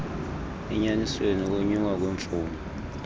enyanisweni ukonyuka kwemfuno